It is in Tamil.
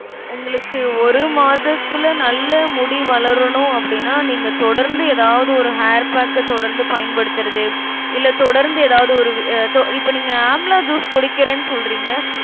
உங்களுக்கு ஒரு மாதத்துல நல்லா முடி வளரணும் அப்டினா நீங்க தொடர்ந்து ஏதாவது ஒரு hair pack அ தொடர்ந்து பயன்படுத்தறது இல்ல தொடர்ந்து எதாவது ஒரு வி~ அ~ தொ~ இப்ப நீங்க amla juice குடிக்கறேன்னு சொல்றீங்க